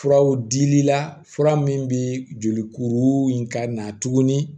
Furaw dili la fura min bɛ joli kuru in ka na tuguni